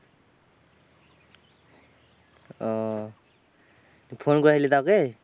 ওহ তুই ফোন করেছিলি তা ওকে?